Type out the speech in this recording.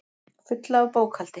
Fulla af bókhaldi.